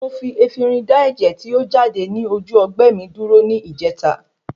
Mo fi Efinrin da ẹ̀jẹ̀ tí o jáde ní ojú ọgbẹ́ mi dúró ní ìjèta